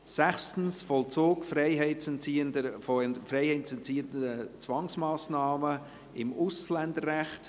6 Vollzug freiheitsentziehender Zwangsmassnahmen des Ausländerrechts